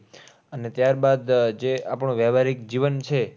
અને ત્યારબાદ જે આપણું વહવારીક જીવન છે